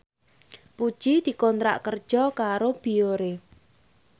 Puji dikontrak kerja karo Biore